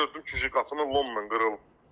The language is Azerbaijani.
Gördüm ki, qapının lomla qırılıb.